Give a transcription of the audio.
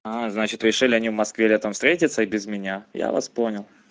значит решили они в москве летом встретиться и без меня я вас понял